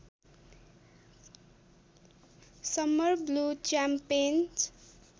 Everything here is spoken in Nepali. summer blue च्याम्पेन्ज